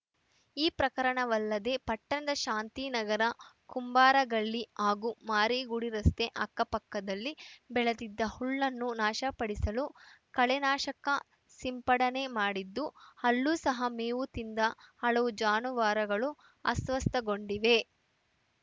ಈ ಪ್ರಕರಣವಲ್ಲದೇ ಪಟ್ಟಣದ ಶಾಂತಿನಗರ ಕುಂಬಾರಗಲ್ಲಿ ಹಾಗೂ ಮಾರಿಗುಡಿ ರಸ್ತೆ ಅಕ್ಕಪಕ್ಕದಲ್ಲಿ ಬೆಳೆದಿದ್ದ ಹುಲ್ಲನ್ನು ನಾಶಪಡಿಸಲು ಕಳೆನಾಶಕ ಸಿಂಪಡನೆ ಮಾಡಿದ್ದು ಅಲ್ಲೂ ಸಹ ಮೇವು ತಿಂದ ಹಲವು ಜಾನುವಾರುಗಳು ಅಸ್ವಸ್ಥಗೊಂಡಿವೆ